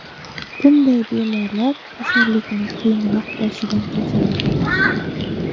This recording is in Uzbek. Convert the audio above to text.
Bunday bemorlar kasallikni qiyinroq boshidan kechiradi.